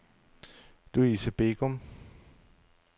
Luise Begum